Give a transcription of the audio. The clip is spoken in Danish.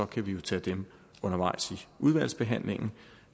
kan vi jo tage dem undervejs i udvalgsbehandlingen